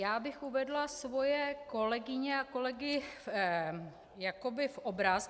Já bych uvedla svoje kolegyně a kolegy jakoby v obraz.